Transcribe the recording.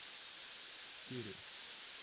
Štiri.